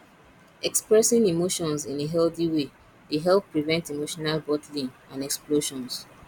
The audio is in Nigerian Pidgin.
expressing emotions in a healthy way dey help prevent emotional bottling and explosions